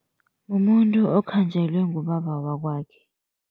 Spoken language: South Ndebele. Mumuntu okhanjelwe ngubaba wakwakhe.